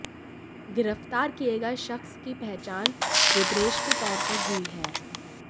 गिरफ्तार किए गए शख्स की पहचान रुद्रेश के तौर पर हुई है